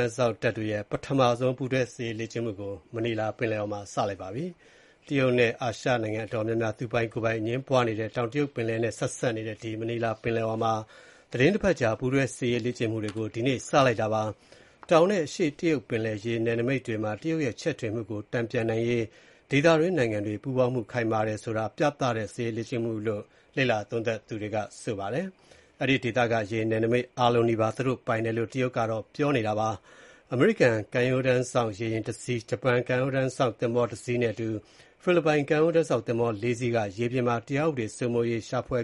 မ်းစောင့် တပ်တွေရဲ့ ပထမဆုံး ပူးတွဲ စစ်ရေးလေ့ကျင့်မှုကို Manila ပင်လယ်အော်မှာ ဒီနေ့ စတင်ပြုလုပ်နေပါတယ်။ တရုတ်နဲ့ အာရှနိုင်ငံတော်တော်များများ သူပိုင် ကိုယ်ပိုင်အငြင်းပွားနေတဲ့ တောင်တရုတ်ပင်လယ်နဲ့ဆက်နေတဲ့ Manila ပင်လယ်အော်မှာ သီတင်းတပါတ်ကြာ ပူးတွဲစစ်ရေးလေ့ကျင့်မှုတွေကို လုပ်မှာဖြစ်ပါတယ်။ တောင်နဲ့ အရှေ့တရုတ်ပင်လယ် ရေနယ်နိမိတ်တွေမှာ တရုတ်ရဲ့ ချဲ့ထွင်မှုကို တန်ပြန်နိုင်ရေး ဒေသတွင်းနိုင်ငံတွေပူးပေါင်းမှု ခိုင်မာတယ်ဆိုတာ ပြသတဲ့ စစ်ရေးလေ့ကျင့်မှုလို့ လေ့လာသူတွေက သုံးသပ်ပါတယ်။ အဲဒီဒေသက ရေနယ်နိမိတ်အားလုံးနီးပါး သူတို့ပိုင်ဆိုင်တယ်လို့ တရုတ်က ပြောနေတာဖြစ်ပါတယ်။ အမေရိကန်ကမ်းရိုးတန်းစောင့် ရေယာဉ် ၁ စီး၊ ဂျပန်ကမ်းရိုးတမ်းစောင့် သင်္ဘော ၁ စီးနဲ့အတူ ဖိလစ်ပိုင် ကမ်းရိုးတမ်းစောင့် သင်္ဘော ၄ စီးက ရေပြင်မှာ တရားဥပဒေစိုးမိုးရေး၊ ရှာဖွေ